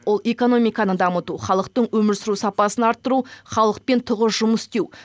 ол экономиканы дамыту халықтың өмір сүру сапасын арттыру халықпен тығыз жұмыс істеу